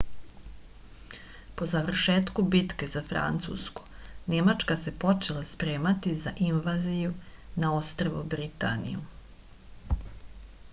po završetku bitke za francusku nemačka se počela spremati za invaziju na ostrvo britaniju